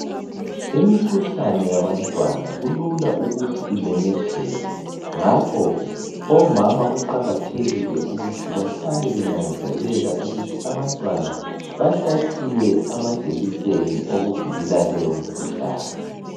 Imikhuhlane yabantwana kulula ukuthi imemetheke ngakho omama kuqakathekile ukuthi bahlale benanzelela ukuthi abantwana bahlatshiwe amajekiseni okuvikela leyo mkhuhlane.